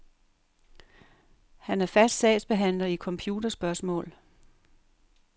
Han er fast sagsbehandler i computerspørgsmål.